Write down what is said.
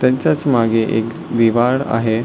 त्यांचाच मागे एक आहे.